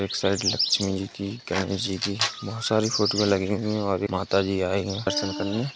शायद लक्ष्मी जी की गणेश जी की बोहोत सारी फोटो लगी हैं और एक माता जी आई हैं दर्शन करने।